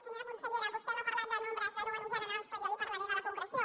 senyora consellera vostè m’ha parlat de números generals però jo li parlaré de la concreció